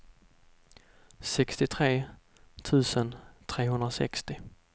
sextiotre tusen trehundrasextio